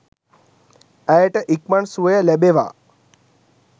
ඇයට ඉක්මන් සුවය ලැබෙවා